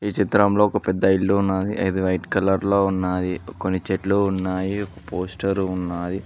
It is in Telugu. చిత్రంలో ఒక పెద్ద ఇల్లు ఉన్నాది అది వైట్ కలర్ లో ఉన్నాది కొన్ని చెట్లు ఉన్నాయి ఒక పోస్టరు ఉన్నాయి